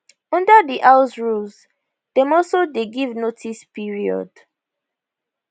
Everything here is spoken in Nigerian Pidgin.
under di house rules dem also dey give notice period